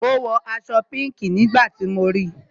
Ó wọ aṣọ pinki nígbà tí mo ríi